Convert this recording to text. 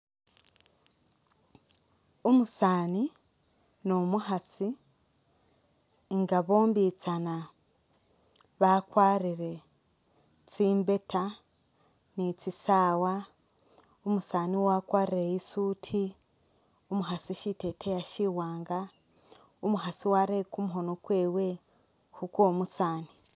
Umusaani ni umukhaasi nga bombitsana bakwarire tsi mbeeta ni tsi sawa , umusaani wakwarire i’suit , umukhasi shiteteyi shiwanga ,umukhaasi warere kumukhono kwewe khukwo musaani.